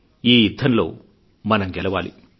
ఈ యుద్ధంలో మనం గెలవాలి